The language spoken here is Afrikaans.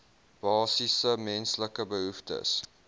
basiese menslike behoeftes